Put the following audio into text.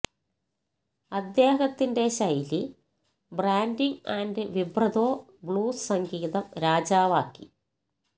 അദ്ദേഹത്തിന്റെ ശൈലി branding and vibrato blues സംഗീതം രാജാവാക്കി